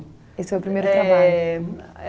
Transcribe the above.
Esse foi o primeiro trabalho?